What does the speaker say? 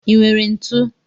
I nwere ntụ?